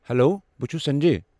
Hello, بہٕ چھُس سنجے۔